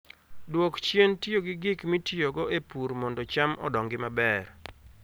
Dwok chien tiyo gi gik mitiyogo e pur mondo cham odongi maber